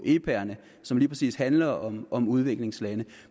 epaerne som lige præcis handler om om udviklingslande